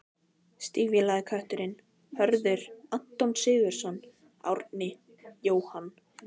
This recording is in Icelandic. Stígvélaði kötturinn: Hörður, Anton Sigurðsson, Árni, Jóhann